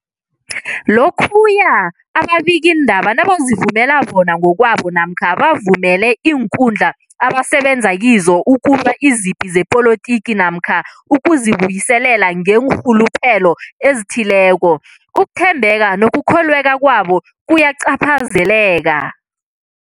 Lokhuya ababikiindaba nabazivumela bona ngokwabo namkha bavumele iinkundla abasebenza kizo ukulwa izipi zepolitiki namkha ukuzi buyiselela ngeenrhuluphelo ezithileko, ukuthembeka nokukholweka kwabo kuyacaphazeleka.